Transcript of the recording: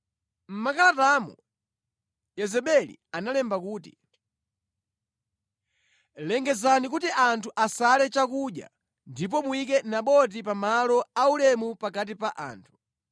Mʼmakalatamo Yezebeli analemba kuti: “Lengezani kuti anthu asale chakudya ndipo muyike Naboti pa malo aulemu pakati pa anthu.